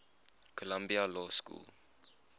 columbia law school